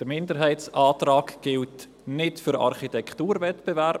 Der Minderheitsantrag gilt nicht für den Architekturwettbewerb.